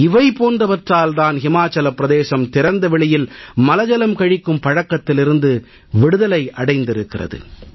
இவை போன்றவற்றால் தான் ஹிமாசல பிரதேசம் திறந்த வெளியில் மலஜலம் கழிக்கும் பழக்கத்திலிருந்து விடுதலை அடைந்திருக்கிறது